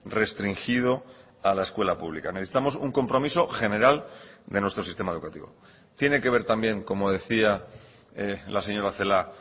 restringido a la escuela pública necesitamos un compromiso general de nuestro sistema educativo tiene que ver también como decía la señora celaá